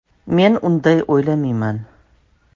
Men unday o‘ylamayman.